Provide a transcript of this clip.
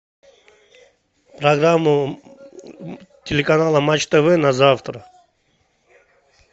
программу телеканала матч тв на завтра